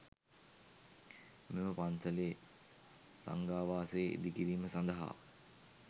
මෙම පන්සලේ සංඝාවාසය ඉදිකිරීම සඳහා